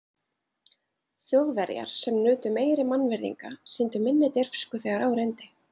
Þjóðverjar, sem nutu meiri mannvirðinga, sýndu minni dirfsku, þegar á reyndi.